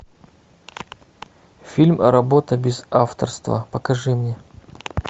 фильм работа без авторства покажи мне